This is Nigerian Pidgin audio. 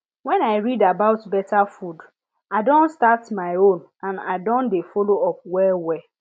when i read about better food i don start my own and i don dey follow up well well